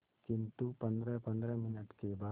किंतु पंद्रहपंद्रह मिनट के बाद